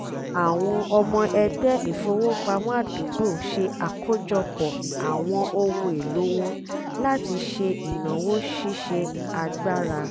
àwọn ọmọ ẹgbẹ́ ìfowópamọ́ àdúgbò ṣe àkójọpọ̀ àwọn ohun èlò wọn láti ṣe ìnáwó ṣíṣe agbára